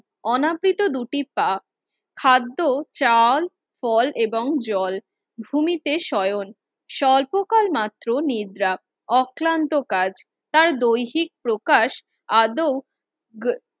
অনাব্রিত দুটি, পা খাদ্য চাল ফল এবং জল ভূমিতে শয়ন স্বল্প কাল মাত্র নিদ্রা অক্লান্ত কাজ তার দৈহিক প্রকাশ আদৌ